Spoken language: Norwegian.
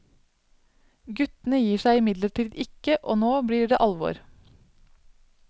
Guttene gir seg imidlertid ikke, og nå blir det alvor.